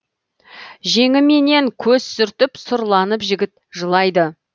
жеңіменен көз сүртіп сұрланып жігіт жылайды